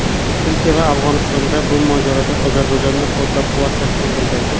Turkiya va Afg‘oniston bu mojaroda Ozarbayjonni qo‘llab-quvvatlashini bildirdi.